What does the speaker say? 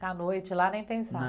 Ficar a noite lá nem pensar.